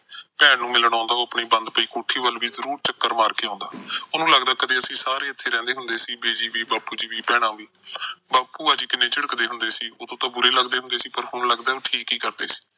ਭੈਣ ਨੂੰ ਮਿਲਣ ਆਉਂਦਾ ਉਹ ਆਪਣੀ ਬੰਦ ਪਈ ਕੋਠੀ ਵੱਲ ਵੀ ਜਰੂਰ ਚੱਕਰ ਮਾਰ ਕੇ ਆਉਂਦਾ। ਉਸਨੂੰ ਲੱਗਦਾ ਅਸੀਂ ਸਾਰੇ ਕਦੇ ਇੱਥੇ ਰਹਿੰਦੇ ਹੁੰਦੇ ਸੀ, ਬਿਜੀ ਵੀ, ਬਾਪੂ ਵੀ, ਭੈਣਾਂ ਵੀ। ਬਾਪੂ ਕਿੰਨਾ ਝਿੜਕਦੇ ਹੁੰਦੇ ਸੀ। ਉਦੋਂ ਤਾਂ ਬੁਰੇ ਲੱਗਦੇ ਸੀ, ਪਰ ਹੁਣ ਲੱਗਦਾ ਠੀਕ ਹੀ ਸੀ।